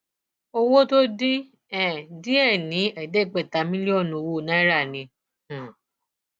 owó tó dín um díẹ ní ẹẹdẹgbẹta mílíọnù owó náírà ni um